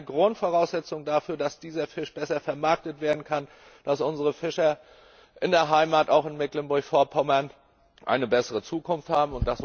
Das ist eine Grundvoraussetzung dafür, dass dieser Fisch besser vermarktet werden kann, dass unsere Fischer in der Heimat, auch in Mecklenburg Vorpommern, eine bessere Zukunft haben.